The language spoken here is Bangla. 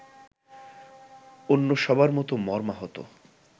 অন্য সবার মতো মর্মাহত